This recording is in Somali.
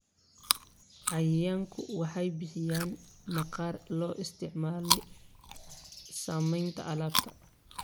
Xayawaanku waxay bixiyaan maqaarka loo isticmaalo samaynta alaabta.